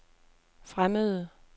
fremmede